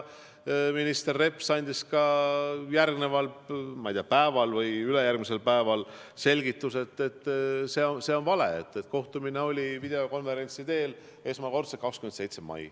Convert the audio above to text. Minister Reps andis järgmisel või ülejärgmisel päeval selgituse, et see on vale, kohtumine oli videokonverentsi kujul esmakordselt 27. mail.